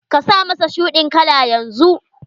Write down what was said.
Ka sa mas shuɗin kala yanzu!